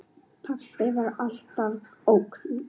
Pabbi var alltaf ógn.